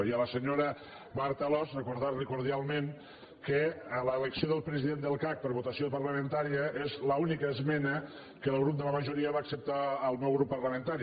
i a la senyora marta alòs recordar li cordialment que l’elecció del president del cac per votació parlamentària és l’única esmena que el grup de la majoria va acceptar al meu grup parlamentari